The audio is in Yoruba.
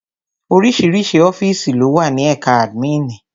Oríṣiríṣi ọ́fìsì lówà ní ẹ̀ka àdmínìì.